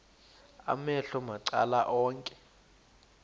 amehlo macala onke